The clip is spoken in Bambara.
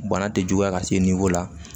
Bana tɛ juguya ka se la